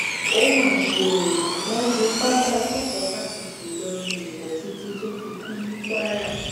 ó mà ṣe o wọn fipá bá akẹkọọ fásitì ìlọrin lò pọ títí tó fi kú ní kwara